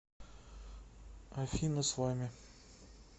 афина с вами